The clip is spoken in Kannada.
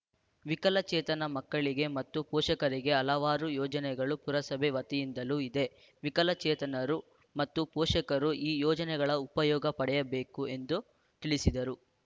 ವಿಕಲಚೇತನ ಮಕ್ಕಳಿಗೆ ಮತ್ತು ಪೋಷಕರಿಗೆ ಹಲವಾರು ಯೋಜನೆಗಳು ಪುರಸಭೆ ವತಿಯಿಂದಲೂ ಇದೆ ವಿಕಲಚೇತನರು ಮತ್ತು ಪೋಷಕರು ಈ ಯೋಜನೆಗಳ ಉಪಯೋಗ ಪಡೆಯಬೇಕು ಎಂದು ತಿಳಿಸಿದರು